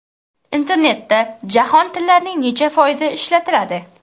Internetda jahon tillarining necha foizi ishlatiladi?.